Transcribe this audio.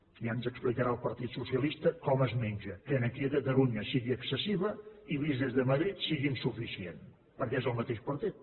ja ens explicarà el partit socialista com es menja que aquí a catalunya sigui excessiva i vist des de madrid sigui insuficient perquè és del mateix partit